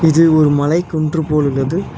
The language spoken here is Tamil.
இது ஒரு மலை குன்று போல் உள்ளது.